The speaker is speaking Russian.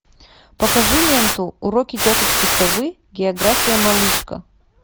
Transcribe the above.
покажи ленту уроки тетушки совы география малышка